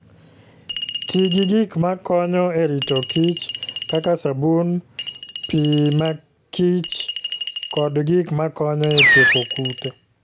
Ti gi gik ma konyo e rito kichr, kaka sabun, pi makichr, kod gik makonyo e tieko kute.